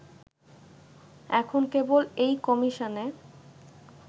এখন কেবল এই কমিশনে